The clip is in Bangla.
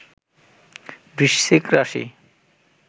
বৃশ্চিক রাশি